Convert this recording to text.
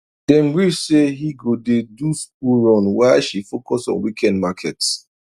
dem gree say he go dey do school run while she focus on weekend market